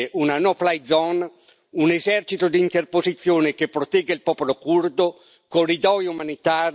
di interposizione che protegga il popolo curdo, corridoi umanitari, sanzioni economiche contro il regime turco.